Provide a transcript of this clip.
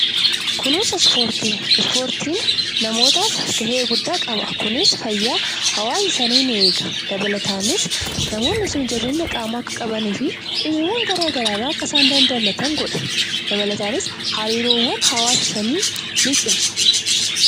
Kunuunsa ispoortii, ispoortiin gahee guddaa qaba kunis fayyaa hawaasa sanii ni eega kunis namoonni sun jabeenya qaamaa akka qabaatanii fi dhibeewwan garagaraa irraa akka isaan of eegan godha dabalataanis hariiroowwan hawaasa sanii ni cimsa.